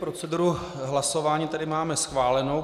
Proceduru hlasování tedy máme schválenou.